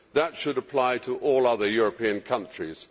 That should apply to all other European countries.